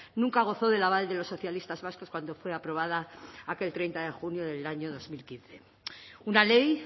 nunca gozó del aval de los socialistas vascos cuando fue aprobada aquel treinta de junio del año dos mil quince una ley